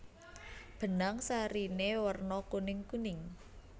Benang sariné werna kuningkuning